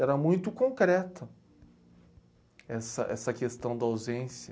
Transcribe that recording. Era muito concreta essa essa questão da ausência.